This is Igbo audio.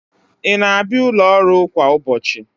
Ị na-abịa n'ụlọ ọrụ a kwa ụbọchị?